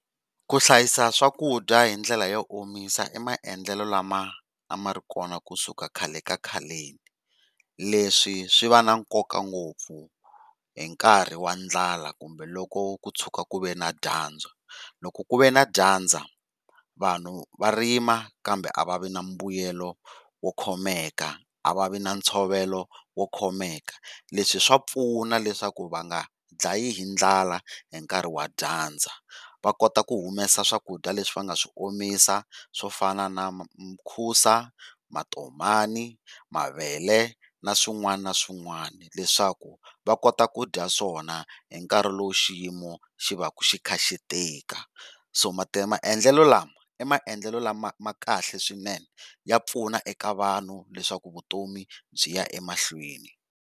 Ku hlayisa swakudya hi ndlela yo omisa i maendlelo lama a ma ri kona kusuka khale ka khaleni, leswi swi va na nkoka ngopfu hinkarhi wa ndlala kumbe loko ku tshuka ku ve na dyandza. Loko ku ve na dyandza vanhu va rima kambe a va vi na mbuyelo wo khomeka a va vi na ntshovelo wo khomeka, leswi swa pfuna leswaku va nga ndlayiwi hi ndlala hi nkarhi wa dyandza va kota ku humesa swakudya leswi va nga swi omisa swo fana na mukhusa, matomani, mavele na swin'wana na swin'wana leswaku va kota ku dya swona hi nkarhi lowu xiyimo xi va xi kha xi tika. So maendlelo lama i maendlelo lama kahle swinene ya pfuna eka vanhu leswaku vutomi byiya emahlweni.